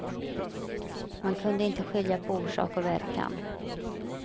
Man kunde inte skilja på orsak och verkan.